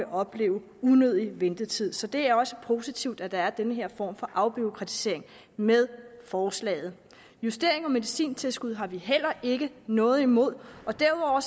oplevet unødig ventetid så det er også positivt at der er den her form for afbureaukratisering med forslaget justeringen af medicintilskuddet har vi heller ikke noget imod og derudover